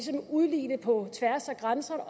udligne på tværs af grænser og